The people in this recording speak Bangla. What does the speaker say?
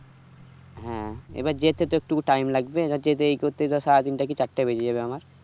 হ্যাঁ এবার যেতে যত টুকু টাইম লাগবে যেতে ইয় করতে ধর সাড়ে তিনটা কি চারটে বেজে যাবে আমার